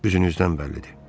Üzünüzdən bəllidir.